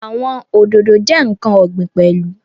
Àwọn Òdòdó jẹ́ ǹkan ọ̀gbìn pẹ̀lú